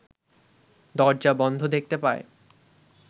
দরজা বন্ধ দেখতে পায়